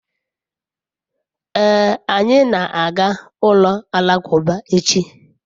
ee, anyi na-aga ulo alakuba echi